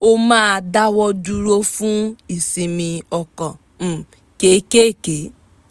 ó máa dáwọ̀ dúró fún ìsinmi ọkàn um kéékèèké